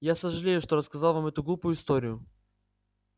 я сожалею что рассказал вам эту глупую историю